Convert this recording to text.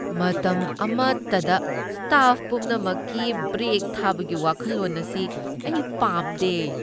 ꯃꯇꯝ ꯑꯃꯠꯇꯗ ꯁ꯭ꯇꯥꯐ ꯄꯨꯝꯅꯃꯛꯀꯤ ꯕ꯭ꯔꯦꯛ ꯊꯥꯕꯒꯤ ꯋꯥꯈꯜꯂꯣꯟ ꯑꯁꯤ ꯑꯩ ꯄꯥꯝꯗꯦ ꯫